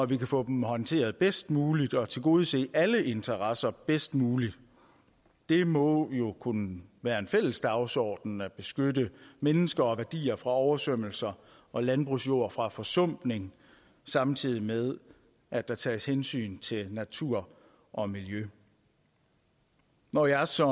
vi kan få dem håndteret bedst muligt og tilgodese alle interesser bedst muligt det må jo kunne være en fælles dagsorden at beskytte mennesker og værdier fra oversvømmelser og landbrugsjord fra forsumpning samtidig med at der tages hensyn til natur og miljø når jeg som